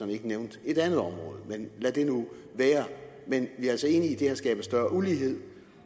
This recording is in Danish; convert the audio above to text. ikke nævnte et andet område men lad det nu være men vi er altså enige det her skaber større ulighed